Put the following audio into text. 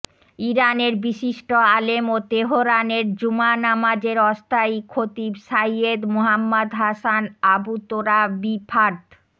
ইরানের বিশিষ্ট আলেম ও তেহরানের জুমা নামাজের অস্থায়ী খতিব সাইয়্যেদ মোহাম্মাদ হাসান আবুতোরাবিফার্দ